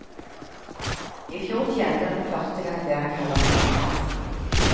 Ifjor tjente han for første gang det han kaller penger.